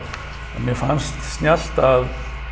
að mér fannst snjallt að